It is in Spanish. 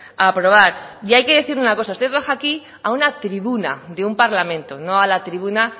a aprobar y hay que decir una cosa usted baja aquí a una tribuna de un parlamento no a la tribuna